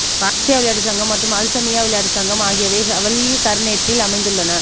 Qadsia விளையாட்டு சங்கம் மற்றும் அல் சல்மியா விளையாட்டு சங்கம் ஆகியவை ஹவல்லி கவர்னரேட்டில் அமைந்துள்ளன